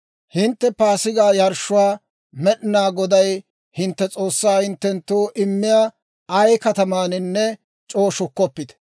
«Hintte Paasigaa yarshshuwaa Med'inaa Goday hintte S'oossaa hinttenttoo immiyaa ay katamaaninne c'oo shukkoppite.